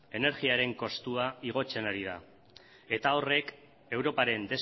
energiaren kostua igotzen ari da eta horrek europaren